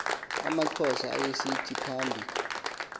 amaxhosa ayesithi phambi